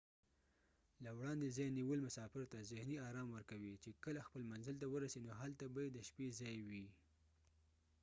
له وړاندې ځای نیول مسافر ته ذهني آرام ورکوي چې کله خپل منزل ته ورسي نو هلته به يې د شپې ځای وي